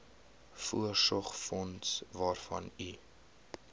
voorsorgsfonds waarvan u